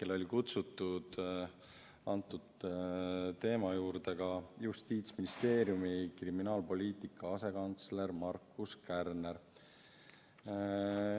Lisaks oli kutsutud teema arutelule ka Justiitsministeeriumi kriminaalpoliitika asekantsler Markus Kärner.